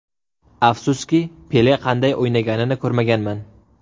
Afsuski, Pele qanday o‘ynaganini ko‘rmaganman.